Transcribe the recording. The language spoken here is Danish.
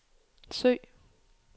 søg